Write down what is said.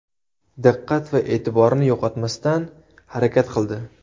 Diqqat va e’tiborni yo‘qotmasdan harakat qildi.